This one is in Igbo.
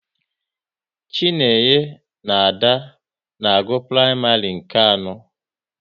Chinenye na Ada na-agụ praịmarị nke anọ